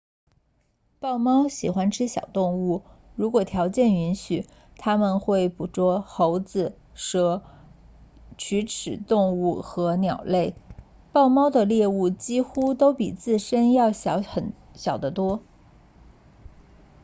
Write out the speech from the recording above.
豹猫喜欢吃小动物如果条件允许他们会捕捉猴子蛇啮齿动物和鸟类豹猫的猎物几乎都比自身要小得多